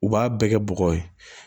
U b'a bɛɛ kɛ bɔgɔ ye